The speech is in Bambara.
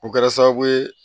O kɛra sababu ye